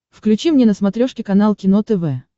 включи мне на смотрешке канал кино тв